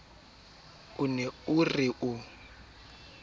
o ne o re o